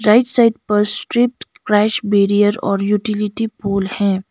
Right side पर straight crash barrier और utility pole हैं।